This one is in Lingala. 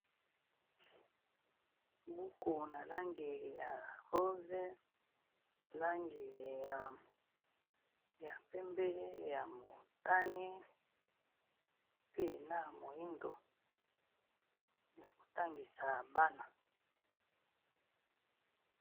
Buku na langi ya rose, langi ya pembe, ya motani, pe na moyindo ya kotangisa bana.